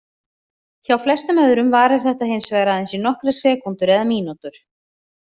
Hjá flestum öðrum varir þetta hins vegar aðeins í nokkrar sekúndur eða mínútur.